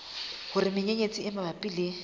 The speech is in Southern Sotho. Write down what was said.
hore menyenyetsi e mabapi le